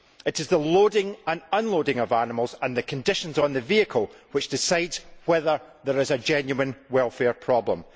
rather it is the loading and unloading of animals and the conditions on the vehicle which determine whether there is a genuine welfare problem.